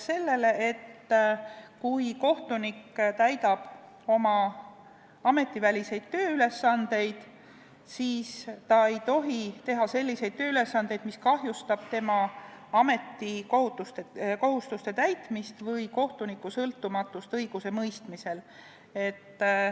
Nimelt, kui kohtunik täidab oma ametiväliseid tööülesandeid, siis ta ei tohi teha selliseid töid, mis kahjustavad tema ametikohustuste täitmist või sõltumatust õigusemõistmisel.